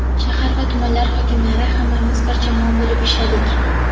shahar va tumanlar hokimlari hammamiz bir jamoa bo‘lib ishladik.